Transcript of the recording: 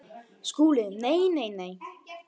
SKÚLI: Nei, nei, nei!